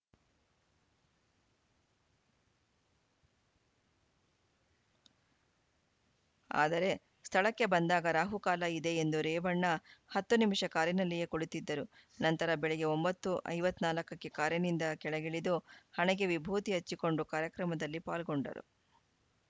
ಆದರೆ ಸ್ಥಳಕ್ಕೆ ಬಂದಾಗ ರಾಹುಕಾಲ ಇದೆ ಎಂದು ರೇವಣ್ಣ ಹತ್ತು ನಿಮಿಷ ಕಾರಿನಲ್ಲಿಯೇ ಕುಳಿತಿದ್ದರು ನಂತರ ಬೆಳಗ್ಗೆ ಒಂಬತ್ತು ಐವತ್ತ್ ನಾಲ್ಕ ಕ್ಕೆ ಕಾರಿನಿಂದ ಕೆಳಗಿಳಿದು ಹಣೆಗೆ ವಿಭೂತಿ ಹಚ್ಚಿಕೊಂಡು ಕಾರ್ಯಕ್ರಮದಲ್ಲಿ ಪಾಲ್ಗೊಂಡರು